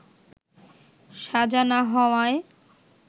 সাজা না হওয়ায়